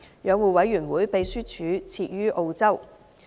養護委員會秘書處設於澳洲。